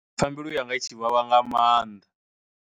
Pfha mbilu yanga i tshi vhavha nga maanḓa.